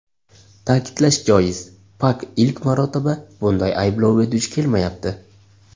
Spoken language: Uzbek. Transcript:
Ta’kidlash joiz, Pak ilk marotaba bunday ayblovga duch kelmayapti.